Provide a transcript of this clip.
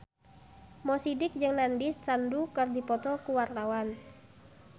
Mo Sidik jeung Nandish Sandhu keur dipoto ku wartawan